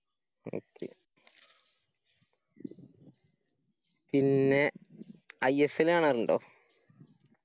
പിന്നെ ISL കാണാറിണ്ടോ?